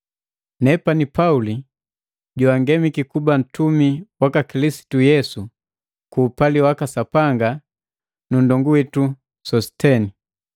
Nena Pauli, joangemiki kuba mtumi waka Kilisitu Yesu ku upali waka Sapanga nu ndongu witu Sositeni.